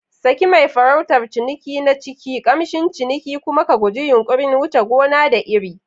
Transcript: Saki mai farautar ciniki na ciki, kamshin ciniki, kuma ka guji yunƙurin wuce gona da iri.